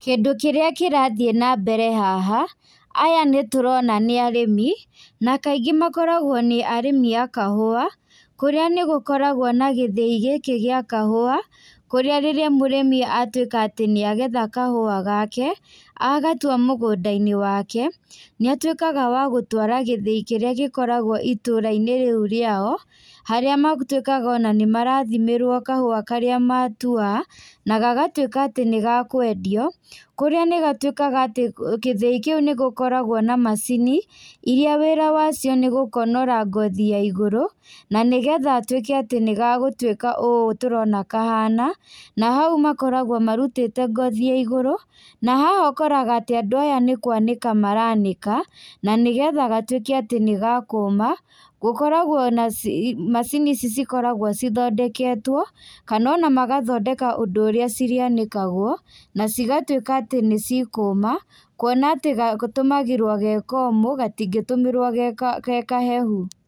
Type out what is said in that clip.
Kĩndũ kĩrĩa kĩrathiĩ nambere haha, aya nĩtũrona nĩ arĩmi, na kaingĩ makoragwo nĩ arĩmi a kahũa, kũrĩa nĩgũkoragwo na gĩthĩi gĩkĩ gĩa kahũa, kũrĩa rĩrĩa mũrĩmi atuĩka atĩ nĩagetha kahũa gake, agatua mũgũndainĩ wake, nĩatuĩkaga wa gũtwara gĩthĩi kĩrĩa gĩkoragwo itũrainĩ rĩu rĩao, harĩa matuĩkaga ona nĩmarathimĩrwo kahũa karĩa matua, na gagatuĩka atĩ nĩgakwendio, kũrĩa nĩgatuĩkaga atĩ gĩthiĩ kĩu nĩgũkoragwo na macini, iria wĩra wacio nĩgũkonora ngothi ya igũrũ, na nĩgetha gatuĩke atĩ nĩgagũtuĩka ũũ tũrona kahana, na hau makoragwo marutĩte ngothi ya igũrũ, na haha ũkoraga atĩ andũ aya nĩkwanĩka maranĩka, na nĩgetha gatuĩke atĩ nĩgakũma, gũkoragwo na ci macini ici cikoragwo cithondeketwo, kana ona magathondeka ũndũ ũrĩa cirĩanĩkagwo, na cigatuĩka atĩ nĩcikũma, kuona atĩ ga gatũmagĩrwo ge komũ, gatingĩtũmĩrwo ge ka gekahehu.